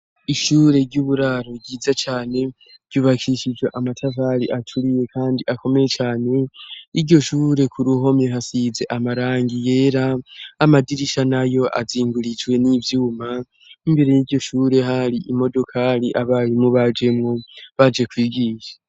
Ishure ry'uburaro ryiza cane ryubakishijwe amatafari aturiye kandi akomeye cane, iryo shure ku ruhome hasize amarangi yera amadirisha nayo azingurijwe n'ivyuma imbere y'iryo shure hari imodokari abarimu bajemwo baje kwigisha.